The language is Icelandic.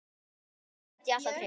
Huldu gat ég alltaf treyst.